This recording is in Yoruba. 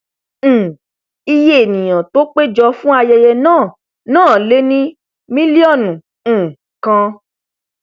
um iyé ènìà tó pé jọ fún ayẹyẹ náà náà lé ní milionu um kan